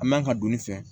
A man ka don ne fɛ